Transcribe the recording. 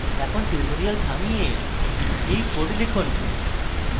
এখন tutorial থামিয়ে you code লিখুন